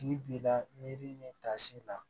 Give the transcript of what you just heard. Tigi b'i la miiri ni tasi la